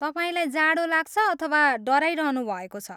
तपाईँलाई जाडो लाग्छ अथवा डराइरहनु भएको छ?